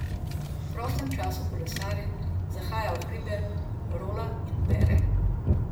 V prostem času kolesari, zahaja v hribe, rola in bere.